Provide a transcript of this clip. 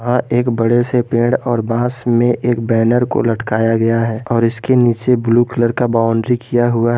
अ एक बड़े से पेड़ और बांस में एक बैनर को लटकाया गया है और इसके नीचे ब्लू कलर का बाउंड्री किया हुआ है।